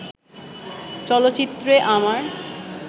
চলচ্চিত্রে আমার